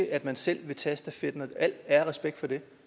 i at man selv vil tage stafetten og al ære og respekt for det